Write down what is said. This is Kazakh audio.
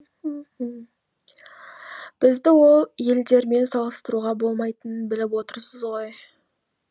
бізді ол елдермен салыстыруға болмайтынын біліп отырсыз ғой